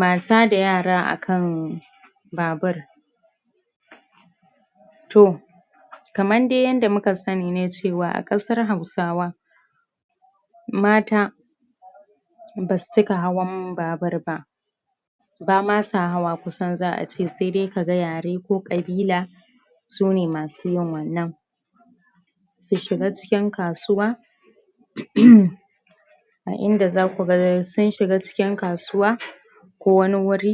Mata da yara a kan babur toh kaman dai yada muka sani ne cewa a qasar hausawa mata ba su cika hawan babur ba ba ma sa hawa kusan za a ce, saida ka gan yare ko qabila su ne masu yin wannan su shiga cikin kasuwa a inda za ku gar, sun shiga cikin kasuwa ko wani wuri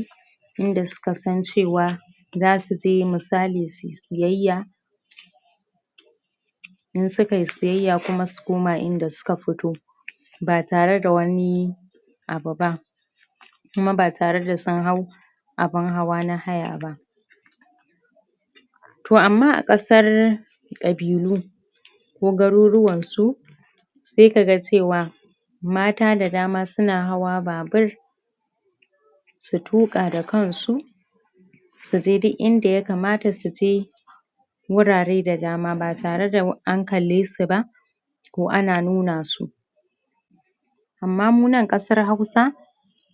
inda su kan san cewa za su je, misali su yi siyaya in suka yi siyaya kuma su koma inda su ka fito ba tare da wani abu ba kuma ba tare da sun hau abun hawa na haya ba toh ama a qasar qabilu ko garuruwan su sai ka gan cewa mata da dama suna hawan babur su tuka da kan su su je duk inda ya kamata su je wurare da dama, ba tare da an kalle su ba ko ana nuna su ama mu nan, qasar hausa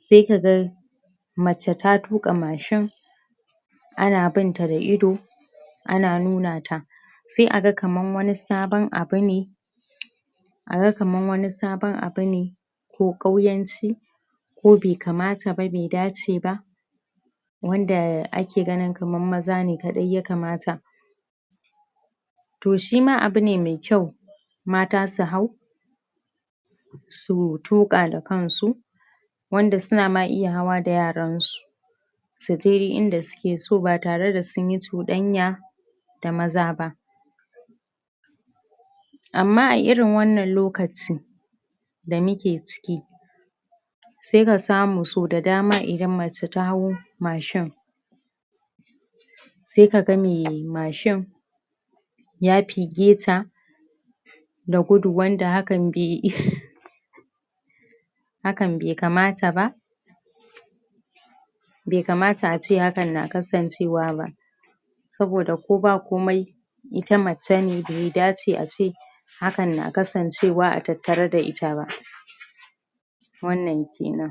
sai ka gan mace ta tuka machine ana bin ta da ido ana nuna ta sai a gan kaman wani sabon abu ne a gan kaman wani sabon abu ne ko kauyanci ko be kamata ba, be dace ba wanda ake ganin kaman maza kadai ya kamata toh shima abu ne mai kyau mata su hau su tuka da kan su wanda su na ma iya hawa da yaran su su je, inda su ke so, ba tare da sun yi cudanya da maza ba ama a irin wanan lokaci da muke ciki sai ka samu so da dama idan mace ta hau machine sai ka gan mai machine ya fige ta da gudu, wanda hakan be be kamata ba be kamata a ce hakan na kasancewa ba saboda ko ba komai ita mace ne, bai dace ace hakan na kasancewa a tattare da ita ba wannan kenan